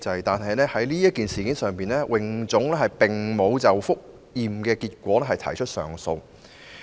不過，在此事上，泳總沒有就覆檢結果提出上訴。